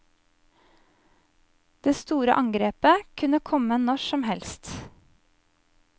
Det store angrepet kunne komme når som helst.